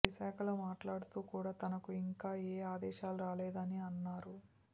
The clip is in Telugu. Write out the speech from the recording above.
విశాఖలో మాట్లాడుతూ కూడా తనకు ఇంకా ఏ ఆదేశాలు రాలేదని అన్నారు